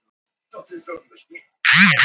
Sá skaði var þeim óbætanlegur.